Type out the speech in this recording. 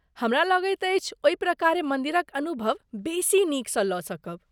हमरा लगैत अछि ओहि प्रकारे मन्दिरक अनुभव बेसी नीकसँ लऽ सकब।